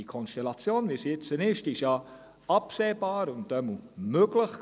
Die Konstellation, wie sie jetzt besteht, war ja absehbar und auf jeden Fall möglich.